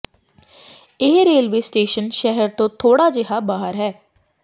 ਇਹ railway station ਸ਼ਹਿਰ ਤੋਂ ਥੋੜਾ ਜਿਹਾ ਬਾਹਰ ਹੈ